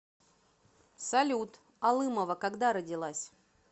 салют алымова когда родилась